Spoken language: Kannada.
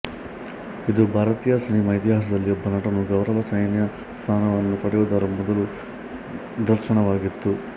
ಇದು ಭಾರತೀಯ ಸಿನಿಮಾ ಇತಿಹಾಸದಲ್ಲಿ ಒಬ್ಬ ನಟನು ಗೌರವ ಸೈನ್ಯ ಸ್ಥಾನವನ್ನು ಪಡೆಯುವುದರ ಮೊದಲ ನಿದರ್ಶನವಾಗಿತ್ತು